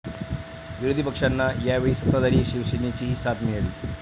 विरोधी पक्षांना यावेळी सत्ताधारी शिवसेनेचीही साथ मिळाली.